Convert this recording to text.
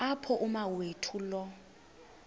apho umawethu lo